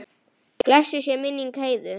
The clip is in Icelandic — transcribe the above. Blessuð sé minning Heiðu.